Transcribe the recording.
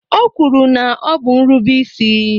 O kwuru na ọ bụ nrubeisi